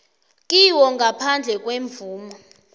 kiwo ngaphandle kwemvumo